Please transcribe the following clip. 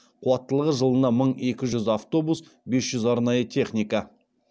қуаттылығы жылына мың екі жүз автобус бес жүз арнайы техника